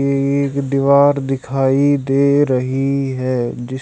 एक दीवार दिखाई दे रही है जिस--